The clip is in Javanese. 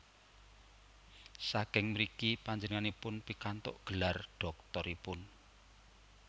Saking mriki panjenenganipun pikantuk gelar dhoktoripun